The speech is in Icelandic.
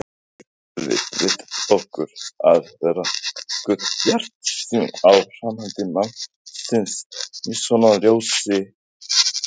Getum við leyft okkur að vera nokkuð bjartsýn á framhald málsins svona í ljósi þessa?